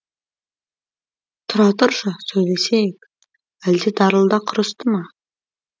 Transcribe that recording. тұра тұршы сөйлесейік әлде дарылда құрысты ма